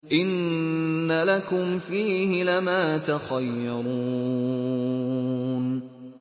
إِنَّ لَكُمْ فِيهِ لَمَا تَخَيَّرُونَ